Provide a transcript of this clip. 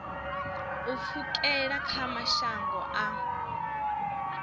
u pfukela kha mashango a